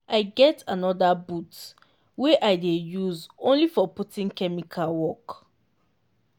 i get anther boot wey i dey use only for putting chemical work.